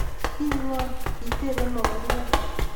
"Ii ngo?"kitebe mogoryot